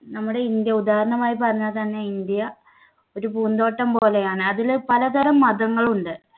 നമ്മുടെ ഇന്ത്യ ഉദാഹരണമായി പറഞ്ഞാൽ തന്നെ ഇന്ത്യ ഒരു പൂന്തോട്ടം പോലെയാണ്. അതില് പലതരം മതങ്ങൾ ഉണ്ട്.